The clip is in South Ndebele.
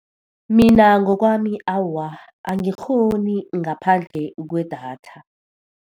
Mina ngokwami awa, angikghoni ngaphandle kwedatha.